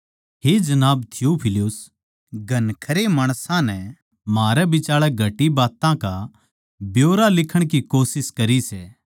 हे जनाब थियुफिलुस घणखरयां माणसां नै म्हारै बिचाळै घटी बात्तां का ब्यौरा लिखण की कोशिश करी सै